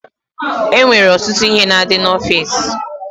E nwere ọtụtụ ihe na-adị n'ọfiisi.